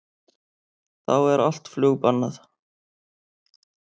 Þá er allt flug bannað